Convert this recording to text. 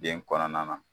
Den kɔnɔna na